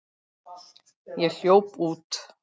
Ég hljóp út.